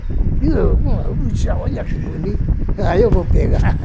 olha que bonito, aí eu vou pegar.